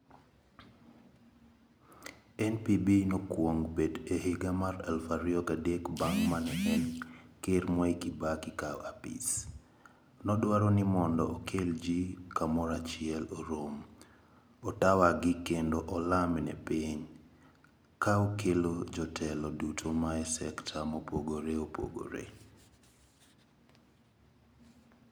NPB nokwong bet e higa mar eluf ario gadek bang' mane en ker Mwai Kibaki kao apisi. Nodwaro ni mondo okel jii kamorachiel orom, otawagi kendo olam ne piny. Kaokelo jotelo duto mae sekta mopogore opogore.